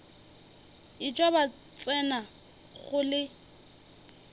etšwa ba tsena go le